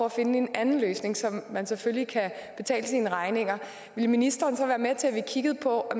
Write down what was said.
at finde en anden løsning så man selvfølgelig kan betale sine regninger ville ministeren så være med til at kigge på at